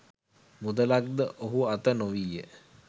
මුදලක් ද ඔහු අත නොවීය